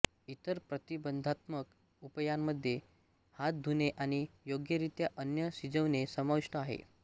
इतर प्रतिबंधात्मक उपायांमध्ये हात धुणे आणि योग्यरित्या अन्न शिजविणे समाविष्ट आहे